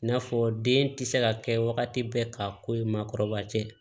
I n'a fɔ den tɛ se ka kɛ wagati bɛɛ ka ko ye maakɔrɔba tɛ